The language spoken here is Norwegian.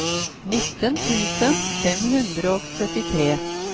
nitten tusen fem hundre og syttitre